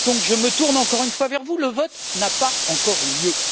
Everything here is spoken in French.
Je me tourne donc encore une fois vers vous. Le vote n'a pas encore eu lieu.